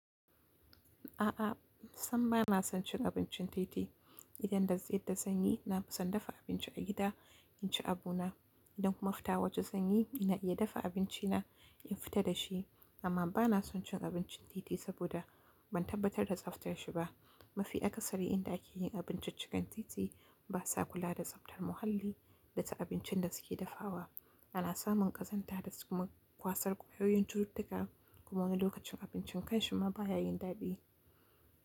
A'a, samm ba na son cin abincin titi. Idan da zai da sanyi, na fi son dafa abinci a gida in ci abu na. Idan kuma fita waje zanyi, ina iya dafa abinci na in fita da shi. Amma ba na son cin abincin titi saboda ban tabbatar da tsaftar shi ba. Mafi akaasari indan ake yin abinciccikan titi ba sa kula da tsaftar muhalli da ta abincin da suke dafawa. Ana samun ƙazanta da kuma kwasar ƙuɓyowin cututtuka kuma lokacin abincin kai shima baya yin ɗaɗi.